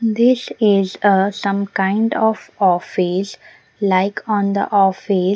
this is ah some kind of office like on the office.